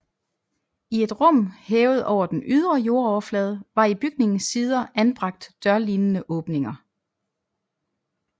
I et rum hævet over den ydre jordoverflade var i bygningens sider anbragt dørlignende åbninger